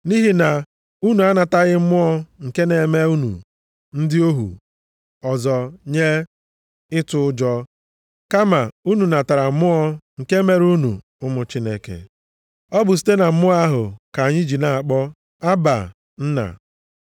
Nʼihi na unu anataghị mmụọ nke na-eme unu ndị ohu ọzọ nye ịtụ ụjọ, kama unu natara Mmụọ nke mere unu ụmụ Chineke. Ọ bụ site na Mmụọ ahụ ka anyị ji na-akpọ “Abba, + 8:15 Nke a pụtara Nna nʼasụsụ dị Aramaik. Nna.”